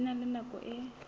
di na le nako e